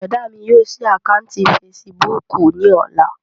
Bùrọ̀dá mi yóò ṣí àkáǹtì fesibúùkù ní ọ̀la